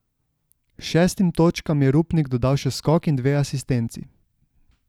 Šestim točkam je Rupnik dodal še skok in dve asistenci.